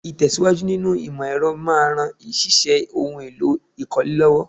Ìtẹ̀síwájú nínú ìmọ̀ ẹ̀rọ máa ran ṣíṣe ohun èlò ìkọ́lé lọ́wọ́